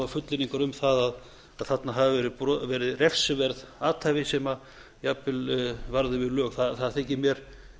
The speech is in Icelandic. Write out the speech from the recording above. fullyrðingar um að þarna hafi verið refsiverð athæfi sem jafnvel varði við lög það þykir mér